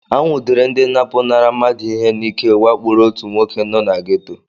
Anwụdere ndị na-apụnara mmadụ ihe n'ike wakporo otu nwoke nọ na gétò